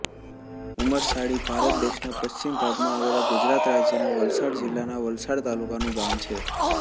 ઉમરસાડી ભારત દેશના પશ્ચિમ ભાગમાં આવેલા ગુજરાત રાજ્યના વલસાડ જિલ્લાના વલસાડ તાલુકાનું ગામ છે